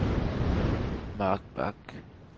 Mark Bach